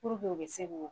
u bɛ se k'o